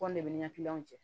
Kɔn de bɛ ni ka jɛ